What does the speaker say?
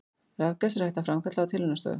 Rafgas er hægt að framkalla á tilraunastofu.